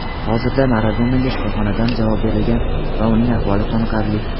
hozirda Maradonaga shifoxonadan javob berilgan va uning ahvoli qoniqarli.